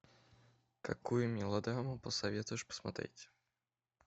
какую мелодраму посоветуешь посмотреть